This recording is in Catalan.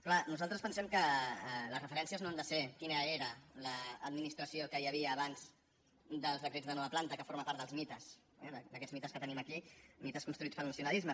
clar nosaltres pensem que les referències no han de ser quina era l’administració que hi havia abans dels decrets de nova planta que forma part dels mites eh d’aquests mites que tenim aquí mites construïts pel nacionalisme